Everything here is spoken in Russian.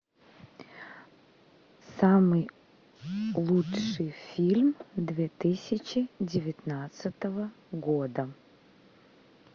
самый лучший фильм две тысячи девятнадцатого года